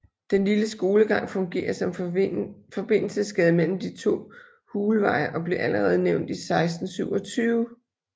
Den lille skolegang fungerer som forbindelsesgade mellem de to Hulveje og blev allerede nævnt i 1627